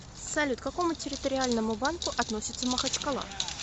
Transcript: салют к какому территориальному банку относится махачкала